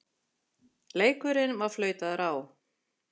Leikurinn var flautaður á.